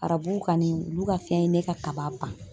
Arabu kanni, olu ka fɛn ye ne ka kaba ban.